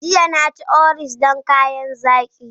Jiya, na ci Oreos don kayan zaki.